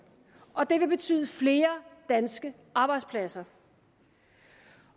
og det vil betyde flere danske arbejdspladser